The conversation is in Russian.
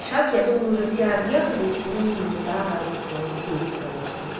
сейчас я думаю уже все разъехались и места типа есть конечно же